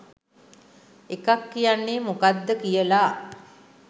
එකක් කියන්නේ මොකද්ද කියලා.